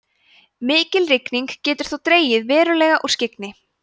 mikil rigning getur þó dregið verulega úr skyggni